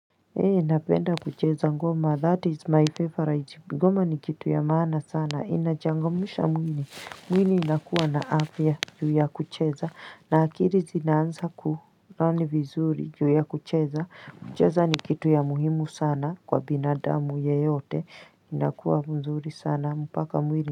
Ee napenda kucheza ngoma that is my favorite ngoma ni kitu ya maana sana inachangamsha mwili mwili unakuwa na afya ya kucheza na akili zinaanza kurani vizuri juu ya kucheza kucheza ni kitu ya muhimu sana kwa binadamu yeyote inakuwa mzuri sana mpaka mwini.